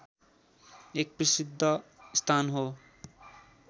एक प्रसिद्ध स्थान हो